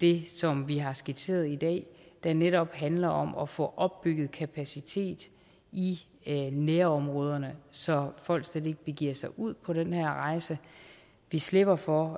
det som vi har skitseret i dag der netop handler om at få opbygget kapacitet i nærområderne så folk slet ikke begiver sig ud på den her rejse vi slipper for